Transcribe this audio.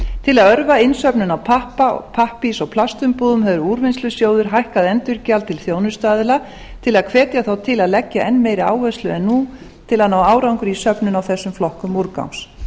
til að örva innsöfnun á pappa og pappírs og pastumbúðum hefur úrvinnslusjóður hækkað endurgjald til þjónustuaðila til að hvetja þá til að leggja enn meiri áherslu en nú til að ná árangri í söfnun á þessum flokkum úrgangs